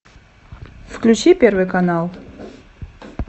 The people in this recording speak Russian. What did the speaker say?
включи первый канал